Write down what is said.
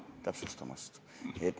Aitüma täpsustamast!